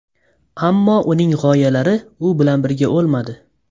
Ammo uning g‘oyalari u bilan birga o‘lmadi.